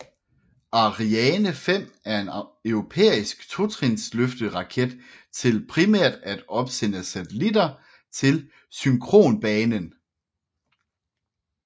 Ariane 5 er en europæisk totrinsløfteraket til primært at opsende satellitter til synkronbanen